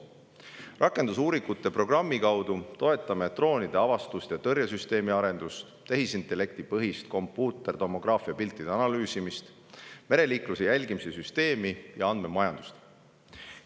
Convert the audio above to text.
Rakendusuuringute programmi kaudu toetame droonide avastus- ja tõrjesüsteemi arendust, tehisintellektipõhist kompuutertomograafia piltide analüüsimist, mereliikluse jälgimise süsteemi ja andmemajandust.